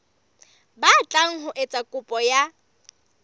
batlang ho etsa kopo ya